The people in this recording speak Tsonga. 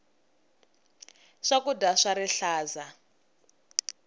swakudya swa rihlaza